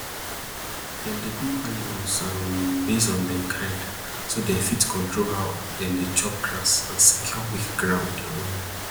dem dey group animal um based on dem kind so dem fit control how dem dey chop grass and secure weak ground um